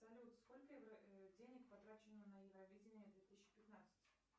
салют сколько денег потрачено на евровидение две тысячи пятнадцать